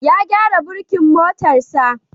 Ya gyara burkin motarsa.